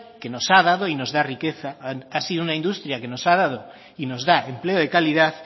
que nos ha dado y nos da riqueza ha sido una industria que nos ha dado y nos da empleo de calidad